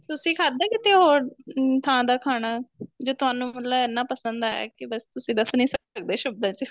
ਤੁਸੀਂ ਖਾਦਾ ਕਿਤੇ ਹੋਰ ਥਾਂ ਦਾ ਖਾਣਾ ਜੇ ਤੁਹਾਨੂੰ ਮਤਲਬ ਇੰਨਾ ਪਸੰਦ ਆਇਆ ਕੀ ਬੱਸ ਤੁਸੀਂ ਦਸ ਨੀਂ ਸਕਦੇ ਸ਼ਬਦਾ ਚ